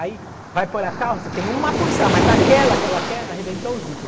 Aí, vai por a calça, tem uma porção, mas aquela que ela quer, arrebentou o zíper.